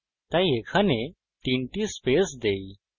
তাই এখানে তিনটি স্পেস দেই